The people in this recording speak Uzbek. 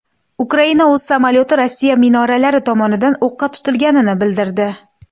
Ukraina o‘z samolyoti Rossiya minoralari tomonidan o‘qqa tutilganini bildirdi.